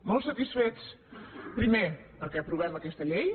molt satisfets primer perquè aprovem aquesta llei